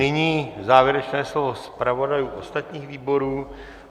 Nyní závěrečné slovo zpravodajů ostatních výborů.